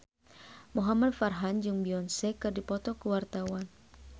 Muhamad Farhan jeung Beyonce keur dipoto ku wartawan